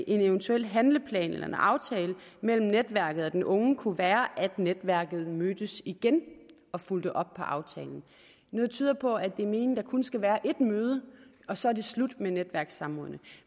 eventuel handleplan eller en aftale mellem netværket og den unge kunne være at netværket mødtes igen og fulgte op på aftalen noget tyder på at det er meningen at der kun skal være ét møde og så er det slut med netværkssamrådene